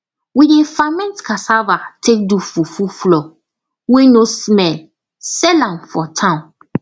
we dey ferment cassava take do fufu flour wey no smell sell am for town